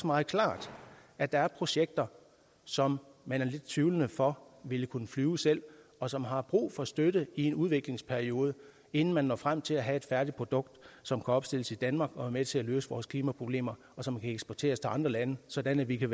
meget klart at der er projekter som man er lidt tvivlende over for ville kunne flyve selv og som har brug for støtte i en udviklingsperiode inden man når frem til at have et færdigt produkt som kan opstilles i danmark og være med til at løse vores klimaproblemer og som kan eksporteres til andre lande sådan at vi kan